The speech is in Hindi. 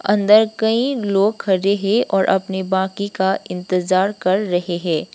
अंदर कई लोग खड़े है और अपने बाकी का इंतजार कर रहे है।